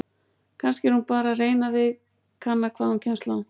Kannski er hún bara að reyna þig, kanna hvað hún kemst langt!